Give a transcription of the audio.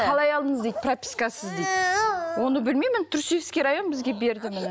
қалай алдыңыз дейді пропискасыз дейді оны білмеймін мен түркісібский район бізге берді нені